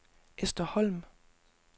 Ester Holm